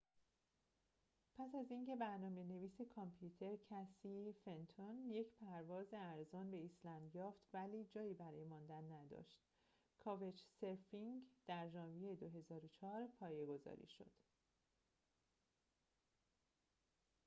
پس از اینکه برنامه‌نویس کامپیوتر کسی فنتون یک پرواز ارزان به ایسلند یافت ولی جایی برای ماندن نداشت کاوچ‌سرفینگ در ژانویه ۲۰۰۴ پایگذاری شد